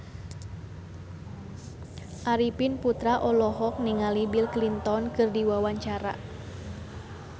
Arifin Putra olohok ningali Bill Clinton keur diwawancara